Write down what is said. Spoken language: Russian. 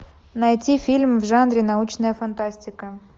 найти фильм в жанре научная фантастика